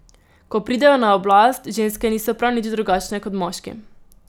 Ko pridejo na oblast, ženske niso prav nič drugačne kot moški.